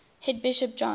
head bishop john